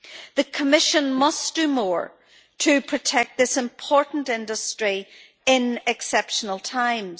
The Commission must do more to protect this important industry in exceptional times.